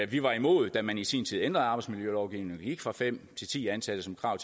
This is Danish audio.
vi var imod da man i sin tid ændrede arbejdsmiljølovgivningen gik fra fem til ti ansatte som krav